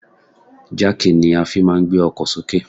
Jáàkì ni a fi máà ń gbé ọkọ sì òkè.